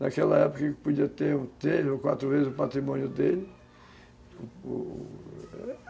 Naquela época, ele podia ter um telho ou quatro vezes o patrimônio dele.